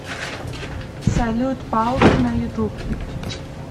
салют палк на ютуб